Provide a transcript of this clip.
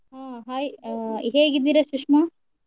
ಹ hai ಅ ಹೇಗಿದ್ದೀರಾ ಸುಶ್ಮಾ?